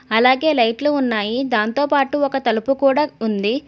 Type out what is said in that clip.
అలాగే లైట్లు ఉన్నాయి. దానితోపాటు ఒక తలుపు కూడా ఉంది.